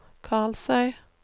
Karlsøy